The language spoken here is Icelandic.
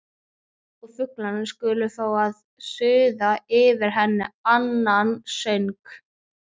Og flugurnar skulu fá að suða yfir henni annan söng.